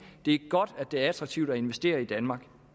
det er godt at det er attraktivt at investere i danmark